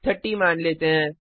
30 मान लेते हैं